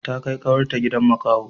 Ta kai kawar ta gidan makaho